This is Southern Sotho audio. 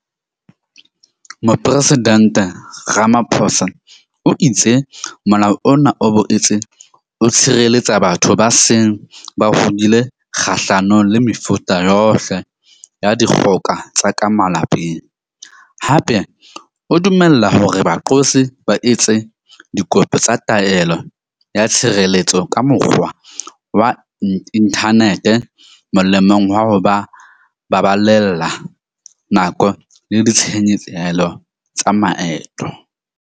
Mopresidente Ramaphosa o itse Molao ona o boetse o tshireletsa batho ba seng ba hodile kgahlanong le mefuta yohle ya dikgoka tsa ka malapeng, hape o dumella hore baqosi ba etse dikopo tsa taelo ya tshireletso ka mokgwa wa inthanete, molemong wa ho ba baballela nako le ditshenyehelo tsa maeto.